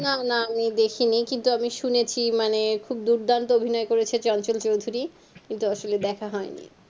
না না আমি দেখিনি কিন্তু আমি শুনেছি মানে খুব দুর্দান্ত অভিনয় করেছে চঞ্চল চৌধুরী কিন্তু আসলে দেখা হয়নি